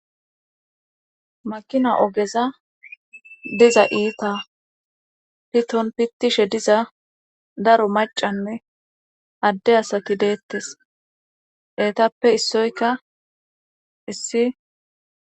makina ogeza diza iita piton pittishe diza daro macanne adde asaki deettes etappe issoyka issi